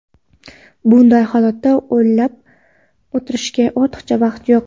Bunday holatda o‘lab o‘tirishga ortiqcha vaqt yo‘q.